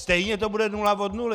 Stejně to bude nula od nuly."